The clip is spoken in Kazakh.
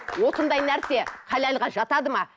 осындай нәрсе халалға жатады ма